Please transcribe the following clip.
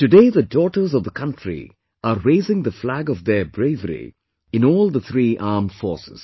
Today, the daughters of the country are raising the flag of their bravery in all the three armed forces